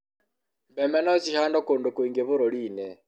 mbembe no cihandũo kũndũ kũingĩ bũrũri-ini